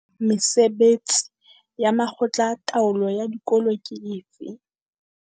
Mesebetsi ya makgotla a taolo ya dikolo ke efe?